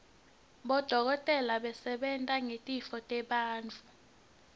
bodokotela basebenta ngetitfo tebantfu